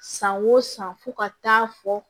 San o san fo ka taa fɔ